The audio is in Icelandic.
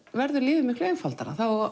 verður lífið miklu einfaldara þá